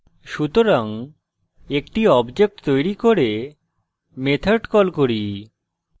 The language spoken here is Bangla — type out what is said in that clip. সুতরাং একটি object তৈরী করে method call করি